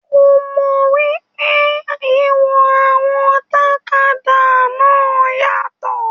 Ko mọ wípé ìwọ̀n àwọn tàkádá náà yàtọ.